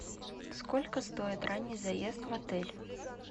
сколько стоит ранний заезд в отель